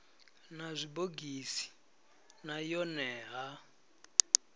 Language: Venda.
na zwibogisi na yone ha